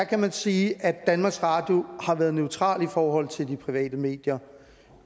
kan man sige at danmarks radio har været neutrale i forhold til de private medier